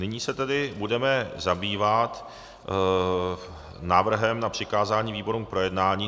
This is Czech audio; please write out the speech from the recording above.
Nyní se tedy budeme zabývat návrhem na přikázání výborům k projednání.